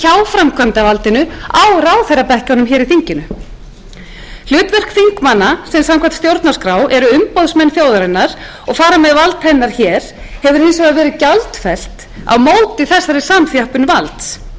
framkvæmdarvaldinu á ráðherrabekkjunum í þinginu hlutverk þingmanna sem samkvæmt stjórnarskrá eru umboðsmenn þjóðarinnar og fara hér með vald hennar hefur hins vegar verið gjaldfellt á móti þessari samþjöppun valds